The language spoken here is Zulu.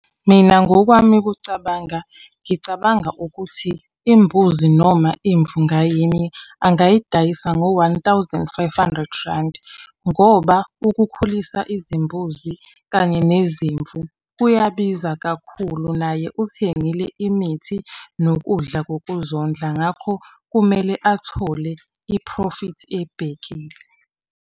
Mina ngokwami ukucabanga, ngicabanga ukuthi imbuzi noma imvu ngayinye angayidayisa ngo one-thousand five-hundred randi, ngoba ukukhulisa izimbuzi kanye nezimvu, kuyabiza kakhulu, naye uthengile imithi nokudla kokuzondla, ngakho kumele athole iphrofithi ebhekile.